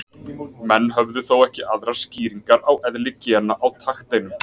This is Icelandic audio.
Menn höfðu þó ekki aðrar skýringar á eðli gena á takteinum.